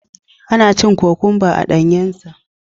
Ana cin kokwamba a danyensa.